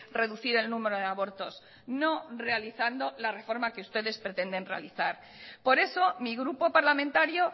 reducir el número de abortos no realizando la reforma que ustedes pretenden realizar por eso mi grupo parlamentario